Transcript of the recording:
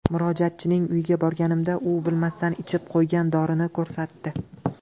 Murojaatchining uyiga borganimda u bilmasdan ichib qo‘ygan dorini ko‘rsatdi.